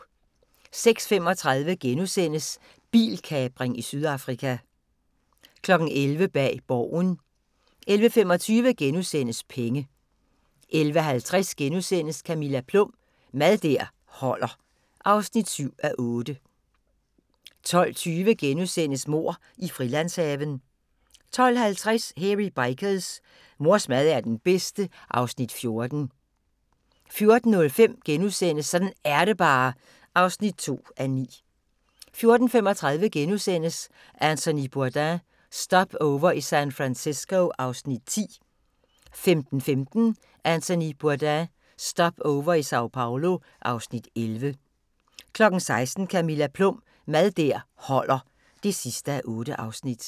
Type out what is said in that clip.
06:35: Bilkapring i Sydafrika * 11:00: Bag Borgen 11:25: Penge * 11:50: Camilla Plum – Mad der holder (7:8)* 12:20: Mord i Frilandshaven * 12:50: Hairy Bikers: Mors mad er den bedste (Afs. 14) 14:05: Sådan er det bare (2:9)* 14:35: Anthony Bourdain – Stopover i San Francisco (Afs. 10)* 15:15: Anthony Bourdain – Stopover i Sao Paolo (Afs. 11) 16:00: Camilla Plum – Mad der holder (8:8)